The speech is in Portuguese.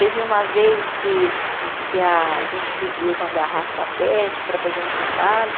Teve uma vez que que a gente pediu uma garrafa pet para fazer um trabalho.